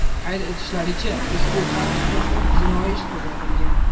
Qayd etishlaricha, ushbu fakt yuzasidan jinoiy ish qo‘zg‘atilgan.